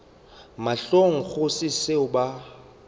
mahlong go se seo ba